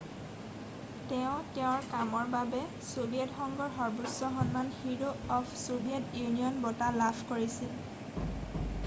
তেওঁ তেওঁৰ কামৰ বাবে ছোভিয়েট সংঘৰ সৰ্বোচ্চ সন্মান হিৰ' অফ ছোভিয়েট ইউনিয়ন' বঁটা লাভ কৰিছিল